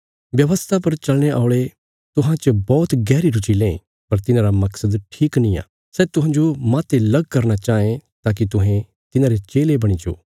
व्यवस्था पर चलाणे औल़े तुहां च बौहत गैहरी रुची लें पर तिन्हांरा मकसद ठीक निआं सै तुहांजो माह्ते लग करना चाँये ताकि तुहें तिन्हांरे चेले बणी जाओ